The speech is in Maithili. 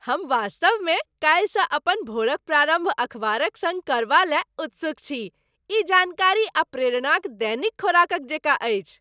हम वास्तवमे काल्हिसँ अपन भोरक प्रारम्भ अखबारक सङ्ग करबा लय कऽ उत्सुक छी। ई जानकारी आ प्रेरणाक दैनिक खोराकक जेकाँ अछि।